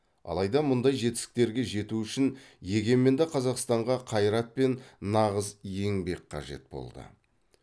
алайда мұндай жетістіктерге жету үшін егеменді қазақстанға қайрат пен нағыз еңбек қажет болды